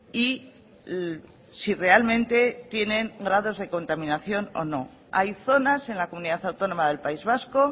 y si realmente tienen grados de contaminación o no hay zonas en la comunidad autónoma del país vasco